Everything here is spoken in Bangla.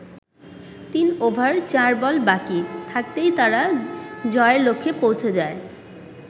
তিন ওভার চার বল বাকি থাকতেই তারা জয়ের লক্ষ্যে পৌঁছে যায়।